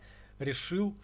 решил